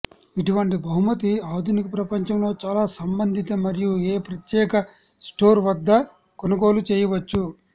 ఇటువంటి బహుమతి ఆధునిక ప్రపంచంలో చాలా సంబంధిత మరియు ఏ ప్రత్యేక స్టోర్ వద్ద కొనుగోలు చేయవచ్చు